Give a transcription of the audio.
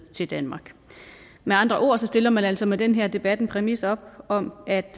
til danmark med andre ord stiller man altså med den her debat en præmis op om at